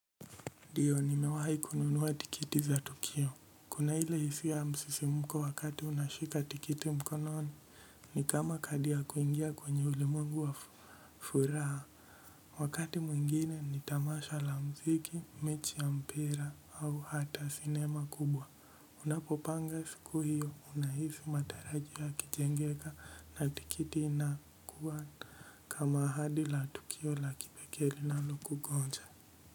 Ndio nimewahi kununua tikiti za tukio kuna ile hisia ya msisimuko wakati unashika tikiti mkononi ni kama kadi ya kuingia kwenye ulimwengu wa furaha wakati mwingine ni tamasha la mziki mechi ya mpira au hata sinema kubwa unapopanga siku hiyo unahisi matarajio yakijengeka na tikiti inakuwa kama ahadi la tukio la kipekee linalokungonja.